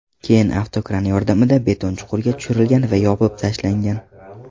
Keyin avtokran yordamida beton chuqurga tushirlgan va yopib tashlangan.